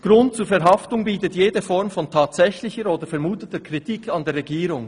Grund zur Verhaftung bietet jede Form von tatsächlicher oder vermuteter Kritik an der Regierung.